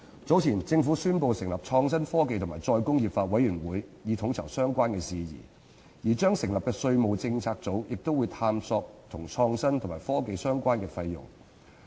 早前，政府宣布成立創新、科技及再工業化委員會，以統籌相關事宜，而將成立的稅務政策組亦會探討與創新及科技相關的費用。